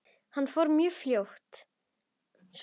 Hann fór mjög fljótt svona.